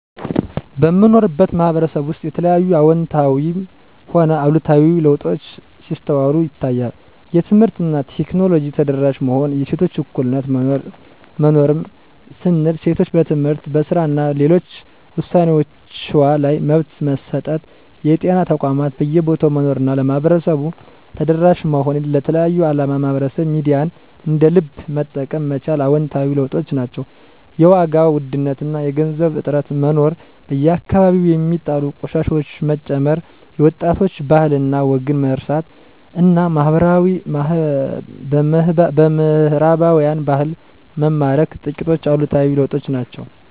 በምኖርበት ማህበረሰብ ውስጥ የተለያዩ አወንታዊም ሆነ አሉታዊ ለውጦች ሲስተዋሉ ይታያል። የትምህርት እና ቴክኖሎጂ ተደራሽ መሆን፣ የሴቶች እኩልነት መኖር ያም ስንል ሴቶች በትምህርት፣ በስራ እና ሌሎች ውሳኔወችዋ ላይ መብት መሰጠት፣ የጤና ተቋማት በየቦታው መኖር እና ለማህበረሰቡ ተደራሽ መሆን፣ ለተለያየ አላማ ማህበራዊ ሚዲያን እንደ ልብ መጠቀም መቻል አወንታዊ ለውጦች ናቸው። የዋጋ ውድነት እና የገንዘብ እጥረት መኖር፣ በየአከባቢው ሚጣሉ ቆሻሻወች መጨመር፣ የወጣቶች ባህል እና ወግን መርሳት እና በምህራባውያን ባህል መማረክ ጥቂቶቹ አሉታዊ ለውጦች ናቸው።